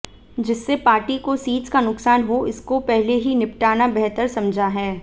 जिससे पार्टी को सीट्स का नुकसान हो इसको पहले ही निपटाना बेहतर समझा है